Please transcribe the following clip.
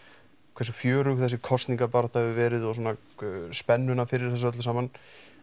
hversu fjörug þessi kosningabarátta hefur verið og svona spennuna fyrir þessu öllu saman